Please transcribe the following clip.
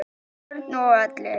Börn og allir?